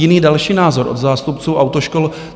Jiný další názor od zástupců autoškol.